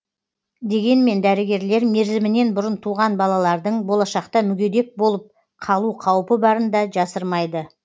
дегенмен дәрігерлер мерзімінен бұрын туған балалардың болашақта мүгедек болып қалу қаупі барын да жасырмайды